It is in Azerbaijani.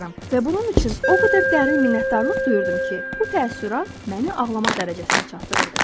Və bunun üçün o qədər dərin minnətdarlıq duyurdum ki, bu təəssürat məni ağlamaq dərəcəsinə çatdırırdı.